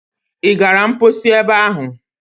Ị gara mposi ebe ahụ?